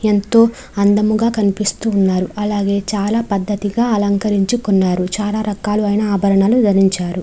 ఎంతో అందముగా కనిపిస్తున్నారు అలాగే చాలా పద్ధతిగా అలంకరించుకున్నారు. చాలా రకాలు అయిన ఆభరణాలు ధరించారు.